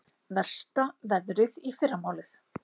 Versta veðrið í fyrramálið